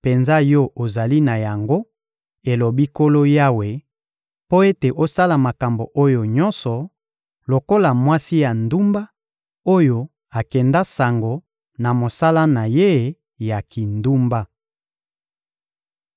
penza yo ozali na yango, elobi Nkolo Yawe, mpo ete osala makambo oyo nyonso, lokola mwasi ya ndumba oyo akenda sango na mosala na ye ya kindumba!